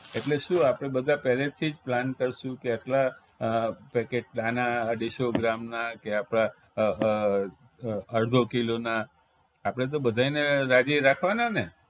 એટલે શું આપણે બધા પેલેથી જ plan કરશું કે આટલા packet આના અઢીસો ગ્રામના કે આપણા અડધો કિલોના આપણે તો બધાયને રાજી રાખવાના ને